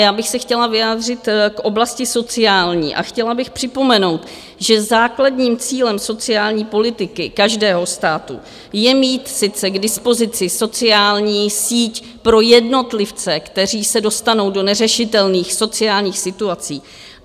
Já bych se chtěla vyjádřit k oblasti sociální a chtěla bych připomenout, že základním cílem sociální politiky každého státu je mít sice k dispozici sociální síť pro jednotlivce, kteří se dostanou do neřešitelných sociálních situací.